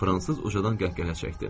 Fransız ucadan qəhqəhə çəkdi.